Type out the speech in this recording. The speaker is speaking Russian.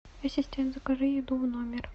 ассистент закажи еду в номер